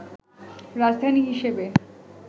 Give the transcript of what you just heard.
রাজধানী হিসেবে